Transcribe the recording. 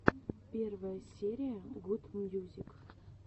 первая серия гуд мьюзик